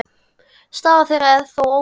Staða þeirra er þó ólík.